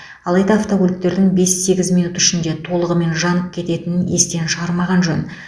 алайда автокөліктердің бес сегіз минут ішінде толығымен жанып кететінін естен шығармаған жөн